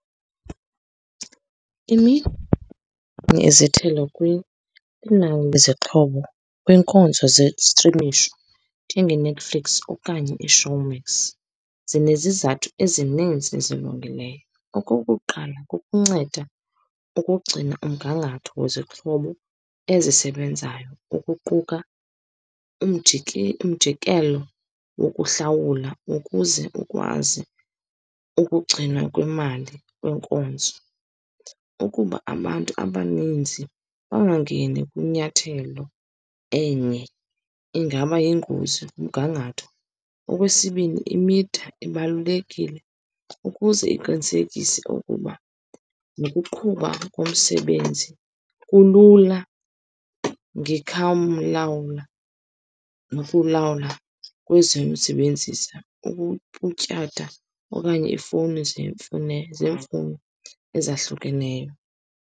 kwinani lwezixhobo kwinkonzo zestrimisho njengeNetflix okanye iShowmax zinezizathu ezininzi ezilungileyo. Okokuqala, kukunceda ukugcina umgangatho wezixhobo ezisebenzayo, ukuquka umjikelo wokuhlawula, ukuze ukwazi ukugcinwa kwemali yenkonzo. Ukuba abantu abaninzi bangangeni kwinyathelo enye, ingaba yingozi kumgangatho. Okwesibini, imitha ibalulekile ukuze iqinisekise ukuba nokuqhuba komsebenzi kulula , nokulawula ubutyatha okanye ifowuni zeemfuno ezahlukeneyo.